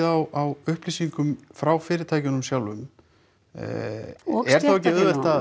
á upplýsingum frá fyrirtækjunum sjálfum er þá ekki auðvelt